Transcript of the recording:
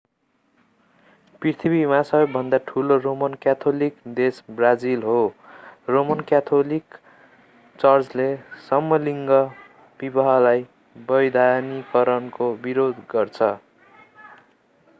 पृथ्वीमा सबैभन्दा ठूलो रोमन क्याथोलिक देश ब्राजिल हो रोमन क्याथोलिक चर्चले समलिङ्गी विवाहलाई वैधानिकरणको विरोध गर्छ